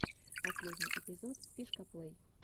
последний эпизод фишкаплэй